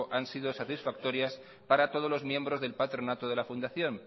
han sido satisfactorias para todos los miembros del patronato de la fundación